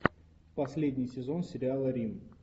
последний сезон сериала рим